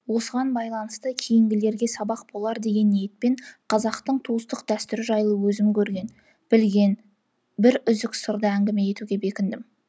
осыған байланысты кейінгілерге сабақ болар деген ниетпен қазақтың туыстық дәстүрі жайлы өзім көрген білген бір үзік сырды әңгіме етуге бекіндім